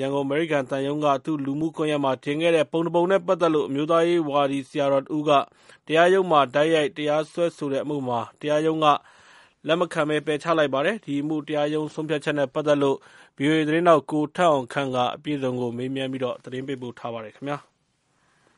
ရန်ကုန် အမေရိကန်သံရုံးက သူ့လူမှုကွန်ယက်မှာ တင်ခဲ့တဲ့ ပုံတပုံနဲ့ပတ်သက်လို့ အမျိုးသားရေးဝါဒီဆရာတော်တဦးက တရားရုံးမှာ တိုက်ရိုက်တရားစွဲဆိုတဲ့အမှုမှာ တရားရုံးက လက်မခံ ပယ်ချလိုက်ပါတယ်။ ဒီအမှု တရားရုံးဆုံးဖြတ်ချက်နဲ့ပတ်သက်လို့ ဗွီအိုအေ သတင်ေးထာက် ကိုထက်အောင်ခန့် မေးမြန်း သတင်းပေးပို့ထားပါတယ်။ မြ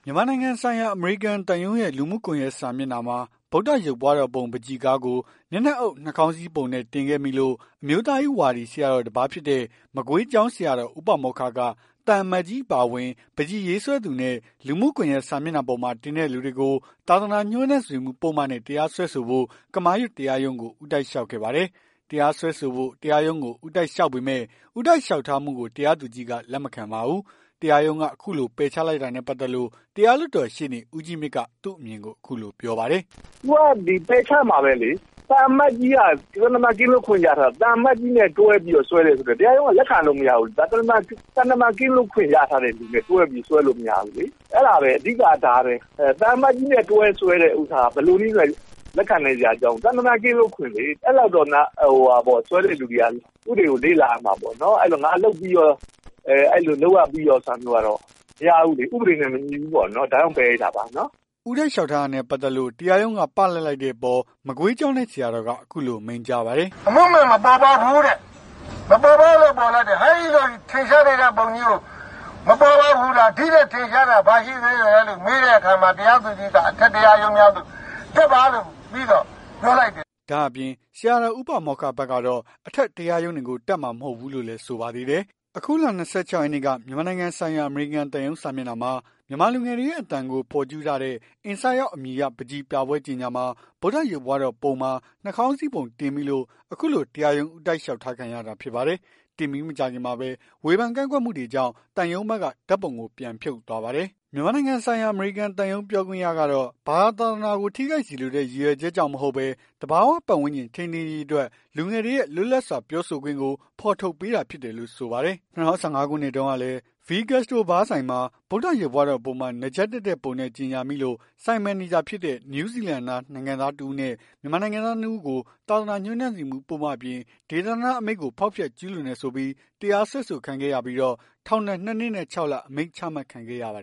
န်မာနိုင်ငံဆိုင်ရာ အမေရိကန်သံရုံးရဲ့ လူမှုကွန်ယက်စာမျက်နှာမှာ ဗုဒ္ဓရုပ်ပွားတော်ပုံ ပန်းချီကားကို မျက်နှာအုပ် နှာခေါင်းစည်းပုံတင်မိခဲ့လို့ အမျိုးသားရေးဝါဒီဆရာတော် တပါးဖြစ်တဲ့ မကွေးကျောင်းဆရာတော် ဦးပါမောက္ခက သံအမတ်ကြီးအပါအဝင် ပန်းချီရေးဆွဲသူနဲ့ လူမှုကွန်ယက်စာမျက်နှာပေါ်မှာ တင်တဲ့လူတွေကို သာသနာ ညှိုးနွမ်းစေမှု ပုဒ်မနဲ့ တရားစွဲဆိုဖို့ ကမာရွတ်တရားရုံးကို ဦးတိုက်လျှောက်ခဲ့ပါတယ်။ တရားစွဲဆိုဖို့ တရားရုံးကို ဦးတိုက်လျှောက်ပေမယ့် ဦးတိုက်လျှောက်ထားမှုကို တရားသူကြီးက လက်မခံပါဘူး။ တရားရုံးက အခုလို ပယ်ချလိုက်တာနဲ့ပတ်သက်လို့ တရားလွှတ်တော် ရှေ့နေ ဦးကြီးမြင့်က သူ့အမြင်ကို အခုလိုပြောပါတယ်။ "သူကပယ်ချက်မှာပဲလေ။ သံအမတ်ကြီးက သံတမန်ကင်းလွတ်ခွင့်ရထားတာ။ သံအမတ်ကြီးနဲ့ တွဲပြီး စွဲတယ်ဆိုရင် တရားရုံးက လက်ခံလို့ရမဘူးလေ။ ဒါသံတမန်ကင်းလွတ်ခွင့်ရထားတဲ့လူနဲ့ တွဲပြီး စွဲလို့ မရဘူးလေ။ အဲ့ဒါပဲ အဓိက က ဒါပဲ။ သံအမတ်ကြီးနဲ့ တွဲစွဲတဲ့ ကိစ္စကို ဘယ်လိုမှ လက်ခံနိုင်စရာ အကြောင်းမရှိဘူး။ သံတမန်ကင်းလွတ်ခွင့်လေ အဲ့လောက်တော့ စွဲတဲ့လူတွေက ဥပဒေကို လေ့လာရမှာပေါ့။ ငါလုပ်ရပြီးရောဆိုပြီး အဲ့ဒါမျိုးက မရဘူးလေ။ ဥပဒေနဲ့ မညီဘူးပေါ့။ ဒါကြောင့် ပယ်လိုက်တာပါ။" ဦးတိုက်လျှောက်ထားတာနဲ့ ပတ်သက်လို့ တရားရုံးက ပလပ်လိုက်တဲ့အပေါ် မကွေးကျောင်းတိုက် ဆရာတော်က အခုလို မိန့်ကြားပါတယ်။ "အမှုမှန်မပေါ်ပေါက်ဘူးတဲ့ မပေါ်ပေါက်လို့ ပယ်လိုက်တယ်။ ဟဲ့ဒီလို ထင်ရှားနေတဲ့ပုံကြီးကို အမှုမှန် မပေါ်ပေါက်ဘူးလား။ ဒီ့ထက် ထင်ရှားတာ ဘာရှိသေးလည်းလို့ မေးတဲ့အခါမှာ တရားသူကြီးက အထက်တရားရုံးများသို့ တက်ပါဆိုပြီး ပြောလိုက်ပါတယ်။" ဒါ့အပြင် ဆရာတော် ဦးပါမောက္ခဘက်ကတော့ အထက်တရားရုံးတွေကို တက်မှာမဟုတ်တော့ဘူးလို့ လည်းဆိုပါသေးတယ်။ အခုလ ၂၆ ရက်နေ့က မြန်မာနိုင်ငံဆိုင်ရာ အမေရိကန်သံရုံး စာမျက်နှာမှာ မြန်မာလူငယ်တွေရဲ့ အသံကို ဖော်ကျူးထားတဲ့ Insight Out အမည်ရတဲ့ ပန်းချီပြပွဲကြေညာမှာ ဗုဒ္ဓရုပ်ပွားတော်ပုံမှာ နှာခေါင်းစည်းပုံ တင်မိလို့ အခုလို တရားရုံး ဦးတိုက်လျှောက်ထားခံရတာ ဖြစ်ပါတယ်။ တင်ပြီးမကြာခင်မှာပဲ ဝေဖန်ကန့်ကွက်မှုတွေကြောင့် သံရုံးဘက်က ဓာတ်ပုံကို ပြန်ဖြုတ်သွားပါတယ်။ မြန်မာနိုင်ငံဆိုင်ရာ အမေရိကန်သံရုံး ပြောခွင့်ရကတော့ ဘာသာ သာသနာကို ထိခိုက်စေလိုတဲ့ ရည်ရွယ်ချက် ကြောင့်မဟုတ်ဘဲ သဘာ၀ ပတ်ဝန်းကျင်ထိန်းသိမ်းရေးအတွက် လူငယ်တွေရဲ့ လွတ်လပ်စွာပြောဆိုခွင့်ကို ဖော်ထုတ်ပေးတာဖြစ်တယ်လို့ ဆိုပါတယ်။ ၂၀၁၅ ခုနှစ်တုန်းကလည်း V Gastro ဘားဆိုင်ဟာ ဗုဒ္ဓရုပ်ပွားတော်ပုံမှာ နားကြပ်တပ်တဲ့ ပုံနဲ့ ကြေညာမိလို့ ဆိုင်မန်နေဂျာ ဖြစ်တဲ့ နယူးဇီလန်နိုင်ငံသား တစ်ဦးနဲ့ မြန်မာနိုင်ငံသား ၂ ဦးကို သာသနာညှိုးနွမ်းစေမှု ပုဒ်မ အပြင် ဒေသန္တအမိန့်ကို ဖောက်ဖျက်ကျူးလွန်တယ်ဆိုပြီး တရားစွဲခံရကာ ထောင်ဒဏ် ၂ နှစ်နဲ့ ၆လ အမိန့် ချမှတ်ခံခဲ့ရပါတယ်